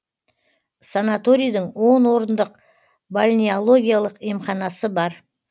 санаторийдің он орындық бальнеологиялық емханасы бар